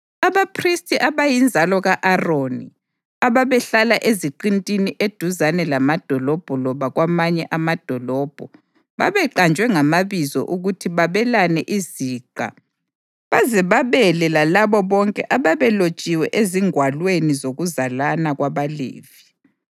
Abaphristi abayinzalo ka-Aroni, ababehlala eziqintini eduzane lamadolobho loba kwamanye amadolobho, babeqanjwe ngamabizo ukuthi babelane iziqa baze babele lalabo bonke ababelotshiwe ezingwalweni zokuzalana kwabaLevi.